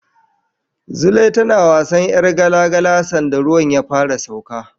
Zulai tana wasan ƴar gala-gala sanda ruwan ya fara sauka.